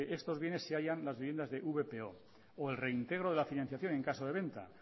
estos bienes se hallan las viviendas de vpo o el reintegro de la financiación en caso de venta